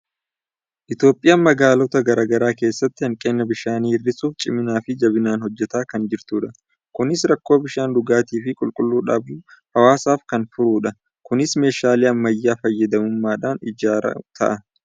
Itoophiyaan magaalota garaa garaa keessatti hanqina bishaanii hir'isuuf ciminaa fi jabinaan hojjetaa kan jirtudha. Kunis rakkoo bishaan dhugaatii fi qulqulluu dhabuu hawaasaaf kan furudha. Kunis meeshaalee ammayyaa fayyadamuudhaan ijaaruu ta'a.